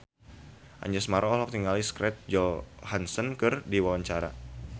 Anjasmara olohok ningali Scarlett Johansson keur diwawancara